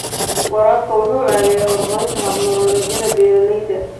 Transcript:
Waraabka wuxuu caawiyaa horumarinta hab-nololeedyada beeralayda.